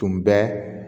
Tun bɛ